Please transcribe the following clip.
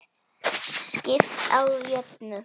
Skipt á jöfnu.